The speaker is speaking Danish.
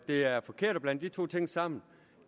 det er forkert at blande de to ting sammen